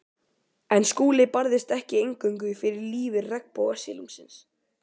En Skúli barðist ekki eingöngu fyrir lífi regnbogasilungsins.